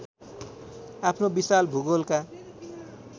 आफ्नो विशाल भूगोलका